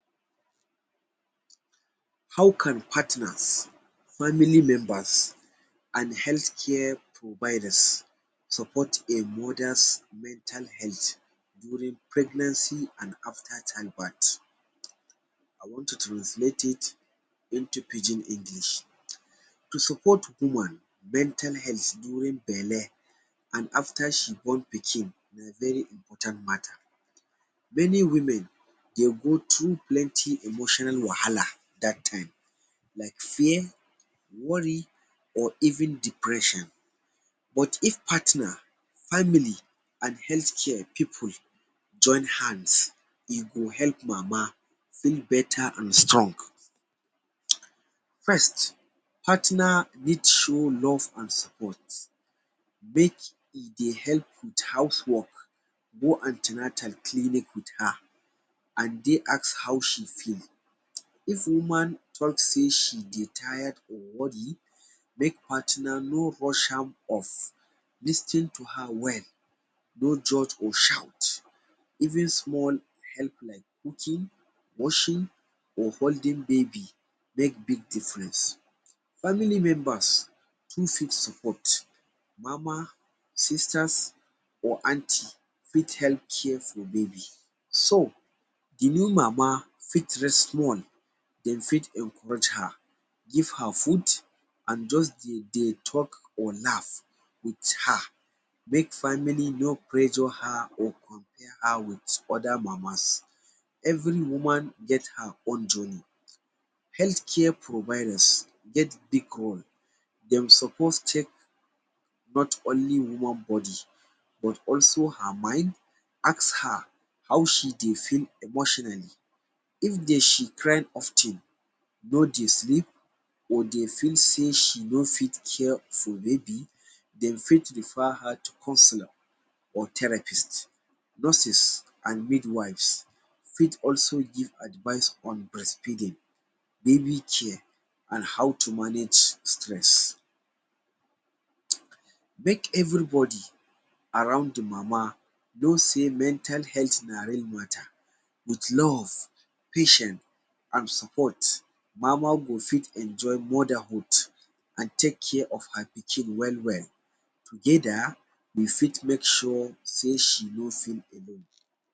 How can partners, family members and health care providers support a mother mental health during pregnancy and after child birth? I want to translate it into pidgin English. To support woman mental health during belle and after she born pikin na very important matter. Many women dey go through plenty emotional wahala dat time. Like fear, worry or even depression. But if partner, family and healthcare people join hands e go help mama feel better and strong. First, partner need show love and sport. Make e dey help with house work, go an ten atal clinic with her and dey ask how she feel. If woman talk sey she dey tire or worry, make partner rush am of, lis ten to her well. dont judge or shout. Even small help like cooking, washing or holding baby make big difference. Family members fit still support. Mama, sisters or aunts fit help care for baby. So, the new mama fit rest small. De fit encourage her, give her food and just dey dey talk or laugh with her. Make family no pressure her or compare her with other mamas. Every woman get her own journey. Healthcare providers get big roles. Dem suppose check nmot only human body but also her mind. Ask her how she dey feel emotionally. If dey she cry of ten, no dey sleep or dey feel sewy she no fitr care for baby, they fit refer her to counsellor or therapist. Nurses and mid-wives fit also give advice on breastfeeding, baby care and how to manage stress. Make everybody around the mama know sey mental health na real matter. With love, patient and support, mama go fit enjoy motherhood and take care of her pikin well well. Together, we fit make sure sey she no sick again.